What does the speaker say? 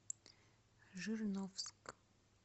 жирновск